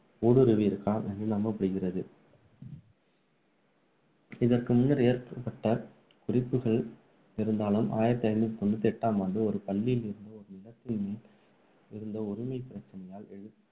ஊடுருவியிருக்கலாம் என்று நம்பப்படுகிறது இதற்கு முன்னர் ஏகப்பட்ட குறிப்புகள் இருந்தாலும், ஆயிரத்து ஐநூற்று தொண்ணூற்று எட்டாம் ஆண்டு ஆம் ஆண்டு ஒரு பள்ளியில் இருந்த ஒரு நிலத்தின் மேல் இருந்த உரிமை பிரச்சனையாயால் எழுந்த சட்ட வழக்கு மூலம் இந்த ஆட்டத்தை பற்றிய